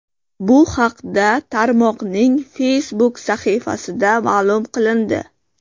Bu haqda tarmoqning Facebook sahifasida ma’lum qilindi.